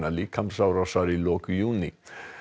líkamsárásar í lok júní